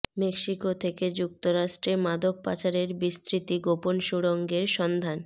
Mexico থেকে যুক্তরাষ্ট্রে মাদক পাচারের বিস্তৃত গোপন সুড়ঙ্গের সন্ধান